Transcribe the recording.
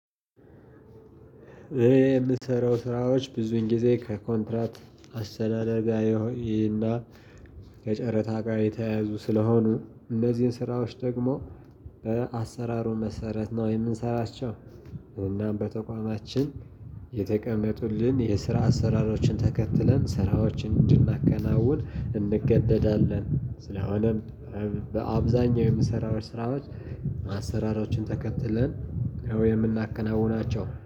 የምትሰረው ስራዎች ብዙን ጊዜ ከኮንትራት አስተዳደር ጋ ይሆይና ከጨረታ ጋር የተያያዙ ስለሆኑ እነዚህን ስራዎች ደግሞ በአሰራሩ መሰረት ነው የምንሰራቸው። እናም በተቋማችን የተቀመጡልን የስራ አሰራሮችን ተከትለን ስራዎችን እንድናከናውን እንገደዳለን ስለሆነም በአብዛኛው የምሰራው ስራዎች አሰራሮችን ተከትለን ያው የምናከናውናቸው